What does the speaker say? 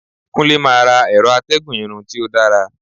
Kunle ma ra ẹrọ atégùn Irun ti o dara